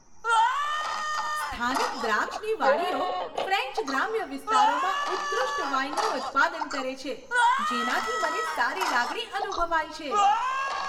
સ્થાનિક દ્રાક્ષની વાડીઓ ફ્રેન્ચ ગ્રામ્ય વિસ્તારોમાં ઉત્કૃષ્ટ વાઇનનું ઉત્પાદન કરે છે, જેનાથી મને સારી લાગણી અનુભવાય છે.